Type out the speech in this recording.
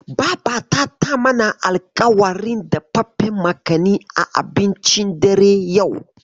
Babata ta mana alƙawarin dafaffen makani a abincin dare, yau.